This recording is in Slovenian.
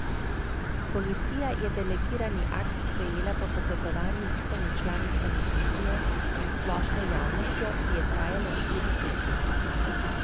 Komisija je delegirani akt sprejela po posvetovanju z vsemi članicami unije in s splošno javnostjo, ki je trajalo štiri tedne.